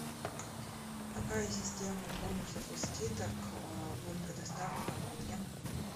какая система бонусов и скидок будет предоставлена мне